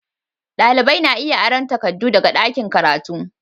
Dalibai na iya aron takardu daga ɗakin karatu